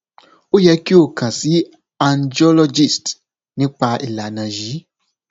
o yẹ ki o kan si angiologist nipa ilana yii